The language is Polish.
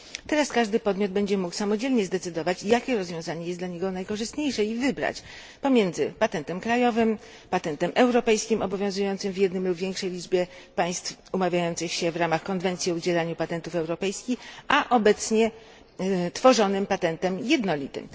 Teraz każdy podmiot będzie mógł samodzielnie zdecydować, jakie rozwiązanie jest dla niego najkorzystniejsze i wybrać pomiędzy patentem krajowym, patentem europejskim obowiązującym w jednym lub w większej liczbie państw umawiających się w ramach konwencji o udzielaniu patentów europejskich, a obecnie tworzonym patentem jednolitym.